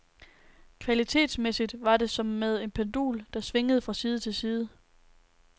Kvalitetsmæssigt var det som med et pendul, der svingede fra side til side.